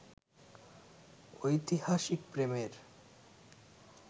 ঐতিহাসিক প্রেমের